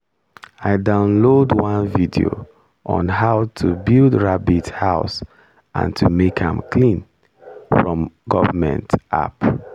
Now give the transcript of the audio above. i download one video on how to build rabbit house and how to make am clean from government app